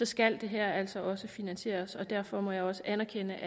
skal det her altså også finansieres derfor må jeg også anerkende